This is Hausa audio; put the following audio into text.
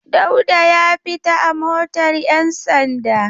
Dauda ya fita a motar 'yansanda.